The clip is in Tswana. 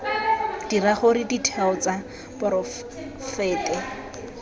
dira gore ditheo tsa poraefete